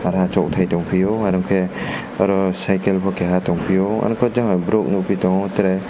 asok tei tang piyo arong ke aro cycle bo kaha tang pio arokhe jang borok tango tere.